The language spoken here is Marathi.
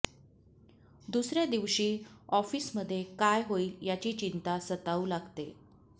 दुसऱ्या दिवशी ऑफिसमध्ये काय होईल याची चिंता सतावू लागते